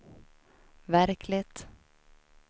verkligt